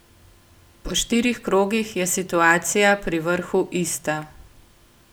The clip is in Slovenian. Po štirih krogih je situacija pri vrhu ista.